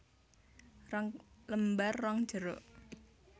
Rong lembar ron jeruk